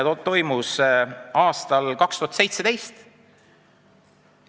Kukkumine toimus aastal 2017.